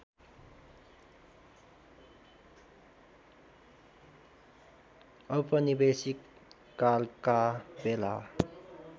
औपनिवेशिक कालका बेला